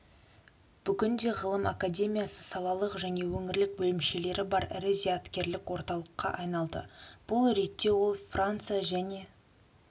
бүгінде ғылым академиясы салалық және өңірлік бөлімшелері бар ірі зияткерлік орталыққа айналды бұл реттеол франция және